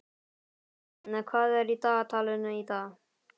Heiða, hvað er í dagatalinu í dag?